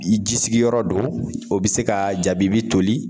I ji sigiyɔrɔ do o be se ka jabibi toli